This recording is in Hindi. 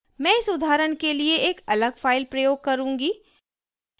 मैं इस उदाहरण के लिए एक अलग फाइल प्रयोग करूँगी